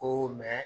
Ko